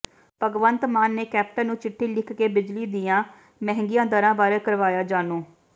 ਭਗਵੰਤ ਮਾਨ ਨੇ ਕੈਪਟਨ ਨੂੰ ਚਿੱਠੀ ਲਿਖ ਕੇ ਬਿਜਲੀ ਦੀਆਂ ਮਹਿੰਗੀਆਂ ਦਰਾਂ ਬਾਰੇ ਕਰਾਇਆ ਜਾਣੂ